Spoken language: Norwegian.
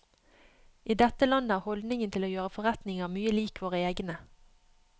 I dette landet er holdningen til å gjøre forretninger mye lik våre egne.